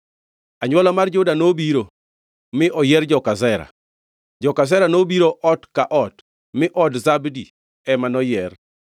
Anywola mar Juda nobiro, mi oyier joka Zera. Joka Zera nobiro ot ka ot mi od Zabdi ema noyier.